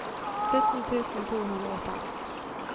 sytten tusen to hundre og fem